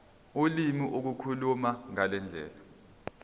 ulimi ukukhuluma ngendlela